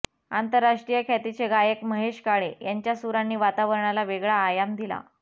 आंतराष्ट्रीय ख्यातीचे गायक महेश काळे यांच्या सुरांनी वातावरणाला वेगळा आयाम दिला